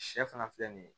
Sɛ fana filɛ nin ye